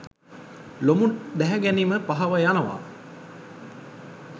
ලොමු දැහැගනීම පහව යනවා.